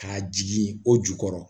K'a jigin o jukɔrɔ